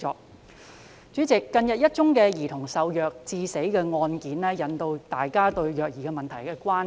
代理主席，近日一宗兒童受虐致死的案件，引起大家對虐兒問題的關注。